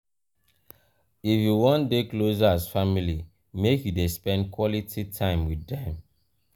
if you wan dey closer as family make you dey spend quality time wit dem.